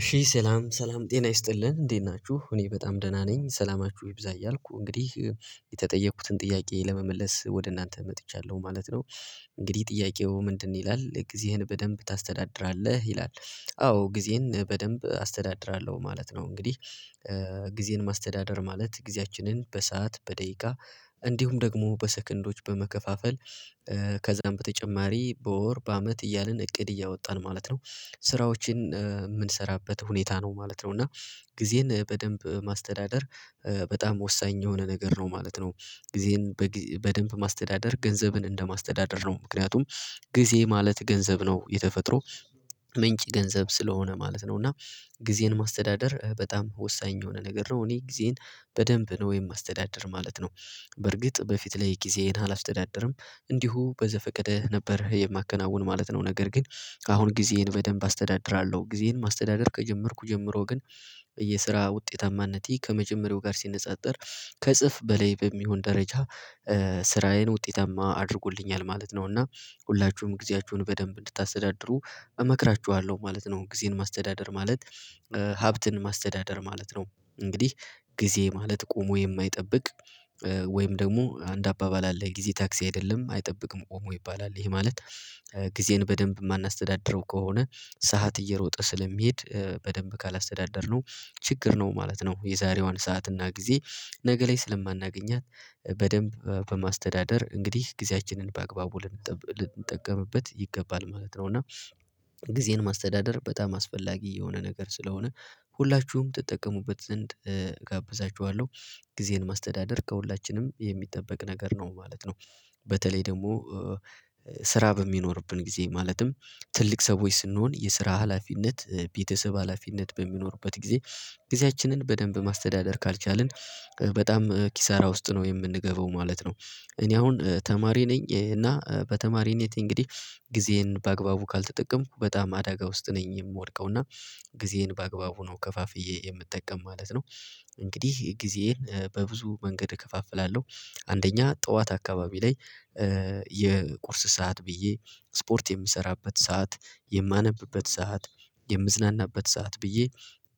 እሺ ሰላም ሰላም ጤና ይስጥልን እንዴት ናችሁ እኔ በጣም ደህና ነኝ ሰላማችሁ ይብዛ እያልኩ እንግዲህ የተጠየኩትን ጥያቄ ለመመለስ ወደ እናንተ መጥቻለሁ ማለት ነው። እንግዲህ ጥያቄው ምንድነው? ይላል ጊዜህን በደንብ ታስተዳድራለህ ይላል? አዎ ጊዜን በደንብ አስተዳድራለሁ ማለት ነው። እንግዲህ ጊዜን ማስተዳደር ማለት ጊዜያችንን በሰአት በደቂቃ እንዲሁም ደግሞ በሰከንዶች በመከፋፈል ከዛም በተጨማሪ በወር በአመት እያልን እቅድ እያወጣን ማለት ነው። ስራዎችን የምንሰራበት ሁኔታ ነው ማለት ነው። እና ጊዜን በደንብ ማስተዳደር በጣም ወሳኝ የሆነ ነገር ነው ማለት ነው። ጊዜን በደንብ ማስተዳደር ገንዘብን እንደማስተዳደር ነው ምክንያቱም ጊዜ ማለት ገንዘብ ነው። የተፈጥሮ ምንጭ ገንዘብ ስለሆነ ማለት ነው። እና ጊዜን ማስተዳደር በጣም ወሳኝ የሆነ ነገር ነው። እኔ ጊዜን በደንብ ነው የማስተዳድር ማለት ነው። በርግጥ በፊት ላይ ጊዜን አላስተዳድርም እንዲሁ በዘፈቀደህ ነበር የማከናውን ማለት ነው። ነገር ግን አሁን ጊዜህን በደንብ አስተዳድራለሁ ጊዜህን ማስተዳደር ከጀመርኩ ጀምሮ ግን የስራ ውጤታማነቴ ከመጀመሪያው ጋር ሲነጻጸር ከእጥፍ በላይ በሚሆን ደረጃ ስራዬን ውጤታማ አድርጎልኛል ማለት ነው። እና ሁላችሁም ጊዜያችሁን በደንብ እንድታስተዳድሩ እመክራችኋለሁ ማለት ነው። ጊዜን ማስተዳደር ማለት ሀብትን ማስተዳደር ማለት ነው። እንግዲህ ጊዜ ማለት ቆሞ የማይጠብቅ ወይም ደግሞ አንድ አባባል አለ ጊዜ ታክሲ አይደለም አይጠብቅም ቁሞ ይባላል። ይሄ ማለት ጊዜን በደንብ የማናስተዳድረው ከሆነ ሰዓት እየሮጠ ስለሚሄድ በደንብ ካላስተዳደርነው ችግር ነው ማለት ነው። የዛሬዋን ሰዓት እና ጊዜ ነገ ላይ ስለማናገኛት በደንብ በማስተዳደር እንግዲህ ጊዜያችንን በአግባቡ ልንጠቀምበት ይገባል ማለት ነው። እና ጊዜን ማስተዳደር በጣም አስፈላጊ የሆነ ነገር ስለሆነ ሁላችሁም ትጠቀሙበት ዘንድ እጋብዛችኋለሁ። ጊዜን ማስተዳደር ከሁላችንም የሚጠበቅ ነገር ነው ማለት ነው። በተለይ ደግሞ ስራ በሚኖርብን ጊዜ ማለትም ትልቅ ሰዎች ስንሆን የስራ ሀላፊነት ቤተሰብ ሀላፊነት በሚኖርበት ጊዜ ጊዜያችንን በደንብ ማስተዳደር ካልቻልን በጣም ኪሳራ ውስጥ ነው የምንገባው ማለት ነው። እኔ አሁን ተማሪ ነኝ እና በተማሪነቴ እንግዲህ ጊዜዬን በአግባቡ ካልተጠቀምኩ በጣም አደጋ ውስጥ ነኝ የምወድቀው። እና ጊዜዬን በአግባቡ ነው ከፋፍዬ የምጠቀም ማለት ነው። እንግዲህ ጊዜዬን በብዙ መንገድ እከፋፍላለሁ አንደኛ ጠዋት አካባቢ ላይ የቁርስ ሰዓት ብዬ ስፖርት የምሰራበት ሰዓት የማነብበት ሰዓት የምዝናናበት ሰዓት ብዬ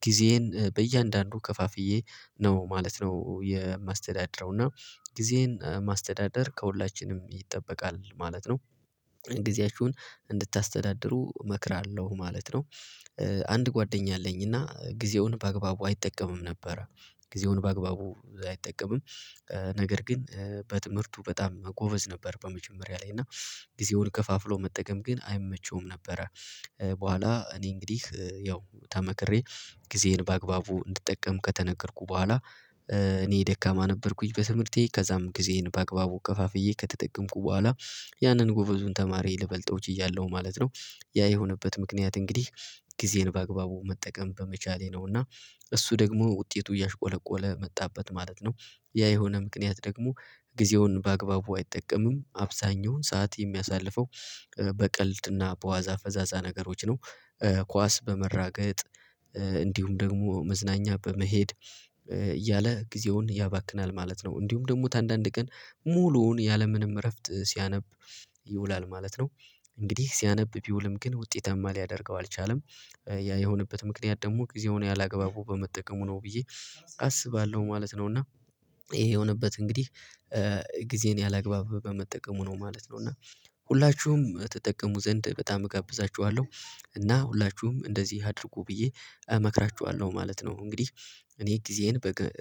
ጊዜዬን በእያንዳንዱ ከፋፍዬ ነው ማለት ነው የማስተዳደረው እና ጊዜዬን ማስተዳደር ከሁላችንም ይጠበቃል ማለት ነው። ጊዜያችሁን እንድታስተዳድሩ እመክራለሁ ማለት ነው። አንድ ጓደኛ አለኝ እና ጊዜውን በአግባቡ አይጠቀምም ነበረ። ጊዜውን በአግባቡ አይጠቀምም። ነገር ግን በትምህርቱ በጣም ጎበዝ ነበር በመጀመሪያ ላይ እና ጊዜውን ከፋፍሎ መጠቀም ግን አይመቸውም ነበረ። በኋላ እኔ እንግዲህ ያው ተመክሬ ጊዜዬን በአግባቡ እንድጠቀም ከተነገርኩ በኋላ እኔ ደካማ ነበርኩኝ በትምህርቴ ከዛም ጊዜዬን በአግባቡ ከፋፍዬ ከተጠቀምኩ በኋላ ያንን ጎበዙን ተማሪ ልበልጠው ችያለሁ ማለት ነው። ያ የሆነበት ምክንያት እንግዲህ ጊዜን በአግባቡ መጠቀም በመቻሌ ነው እና እሱ ደግሞ ውጤቱ እያሽቆለቆለ መጣበት ማለት ነው። ያ የሆነ ምክንያት ደግሞ ጊዜውን በአግባቡ አይጠቀምም አብዛኛውን ሰዓት የሚያሳልፈው በቀልድና በዋዛ ፈዛዛ ነገሮች ነው። ኳስ በመራገጥ እንዲሁም ደግሞ መዝናኛ በመሄድ እያለ ጊዜውን ያባክናል ማለት ነው። እንዲሁም ደግሞ ታንዳንድ ቀን ሙሉውን ያለምንም እረፍት ሲያነብ ይውላል ማለት ነው። እንግዲህ ሲያነብ ቢውልም ግን ውጤታማ ሊያደርገው አልቻለም። ያ የሆነበት ምክንያት ደግሞ ጊዜ ሆኖ ያላገባበቡ በመጠቀሙ ነው ብዬ አስባለሁ ማለት ነው። እና ይሄ የሆነበት እንግዲህ ጊዜን ያላግባብ በመጠቀሙ ነው ማለት ነው። እና ሁላችሁም ትጠቀሙ ዘንድ በጣም እጋብዛችኋለሁ። እና ሁላችሁም እንደዚህ አድርጉ ብዬ እመክራችኋለሁ ማለት ነው። እንግዲህ እኔ ጊዜዬን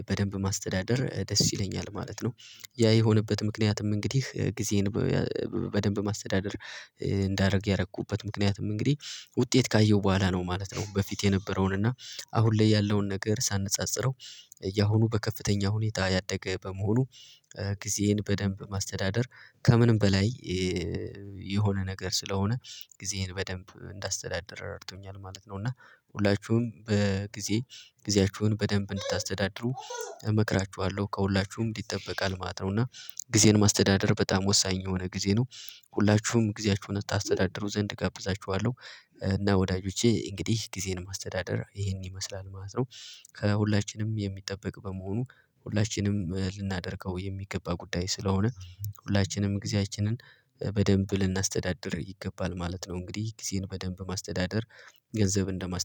በደንብ ማስተዳደር ደስ ይለኛል ማለት ነው። ያ የሆነበት ምክንያትም እንግዲህ ጊዜን በደንብ ማስተዳደር እንዳደረግ ያደረኩበት ምክንያትም እንግዲህ ውጤት ካየው በኋላ ነው ማለት ነው። በፊት የነበረውን እና አሁን ላይ ያለውን ነገር ሳነጻጽረው እያሁኑ በከፍተኛ ሁኔታ ያደገ በመሆኑ ጊዜዬን በደንብ ማስተዳደር ከምንም በላይ የሆነ ነገር ስለሆነ ጊዜን በደንብ እንዳስተዳደር ረድቶኛል ማለት ነው። እና ሁላችሁም በጊዜ ጊዜያችሁን በደንብ እንድታስተዳድሩ እመክራችኋለሁ ከሁላችሁም ይጠበቃል ማለት ነው። እና ጊዜን ማስተዳደር በጣም ወሳኝ የሆነ ጊዜ ነው። ሁላችሁም ጊዜያችሁን አስተዳደሩ ዘንድ እጋብዛችኋለሁ። እና ወዳጆቼ እንግዲህ ጊዜን ማስተዳደር ይሄን ይመስላል ማለት ነው። ከሁላችንም የሚጠበቅ በመሆኑ ሁላችንም ልናደርገው የሚገባ ጉዳይ ስለሆነ ሁላችንም ጊዜያችንን በደንብ ልናስተዳድር ይገባል ማለት ነው። እንግዲህ ጊዜን በደንብ ማስተዳደር ገንዘብ እንደማስተዳደር